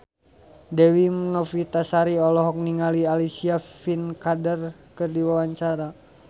Dewi Novitasari olohok ningali Alicia Vikander keur diwawancara